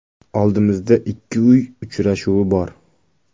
Oldimizda ikki uy uchrashuvi bor.